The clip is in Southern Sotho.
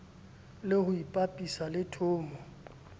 le ho ipapisa le thomo